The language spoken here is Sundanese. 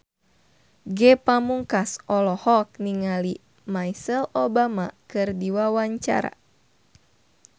Ge Pamungkas olohok ningali Michelle Obama keur diwawancara